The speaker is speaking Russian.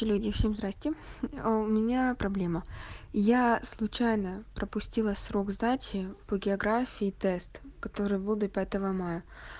люди всем здравствуйте у меня проблема я случайно пропустила срок сдачи по географии тест который был до пятого мая